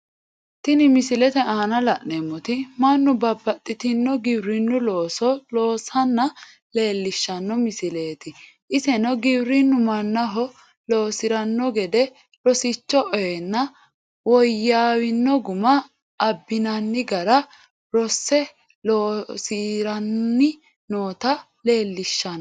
Tinni misilete aanna la'neemoti Manu babbaxitino giwirinu looso loosanna leelishano misileeti iseno giwirinu mannaho loosirano gede rosicho oyeenna woyaawino Guma abinnanni gara rose loosiranni noota leelishano.